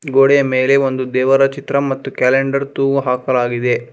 ಗೋಡೆಯ ಮೇಲೆ ಒಂದು ದೇವರ ಚಿತ್ರ ಕ್ಯಾಲೆಂಡರ್ ತೂಗು ಹಾಕಲಾಗಿದೆ.